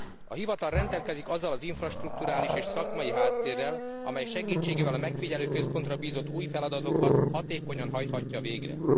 A hivatal rendelkezik azzal az infrastrukturális és szakmai háttérrel, amely segítségével a megfigyelőközpontra bízott új feladatokat hatékonyan hajthatja végre.